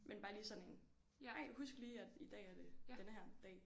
Men bare lige sådan en ej husk lige at i dag er det denne her dag